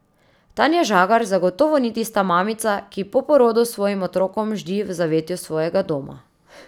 Tanja Žagar zagotovo ni tista mamica, ki po porodu s svojim otrokom ždi v zavetju svojega doma.